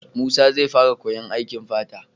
Musa zai fara koyan aikin fata